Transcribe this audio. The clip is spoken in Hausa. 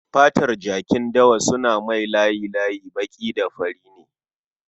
Fatar jakin dawa suna mai layi-layin baƙi da fari ne